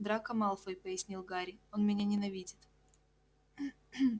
драко малфой пояснил гарри он меня ненавидит